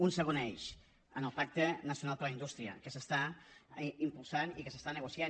un segon eix amb el pacte nacional per a la indústria que s’està impulsant i que s’està negociant